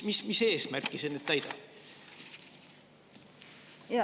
Mis eesmärki see täidab?